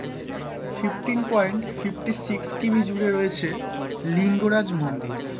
Fifteen point fifty six কিমি জুড়ে রয়েছে লিঙ্গরাজ মন্দির,